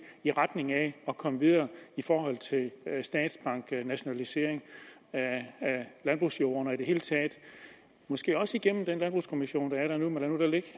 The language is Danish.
i retning af at komme videre i forhold til statsbank og nationalisering af landbrugsjorden og i det hele taget måske også igennem den landbrugskommission der er der nu men lad det